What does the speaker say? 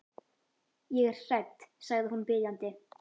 Ég er hrædd, sagði hún biðjandi.